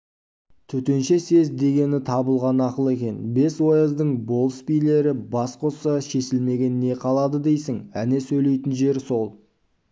төтенше съезд дегені табылған ақыл екен бес ояздың болыс-билері бас қосса шешілмеген не қалады дейсің әне сөйлейтін жер сол